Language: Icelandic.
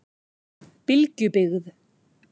Bylgjubyggð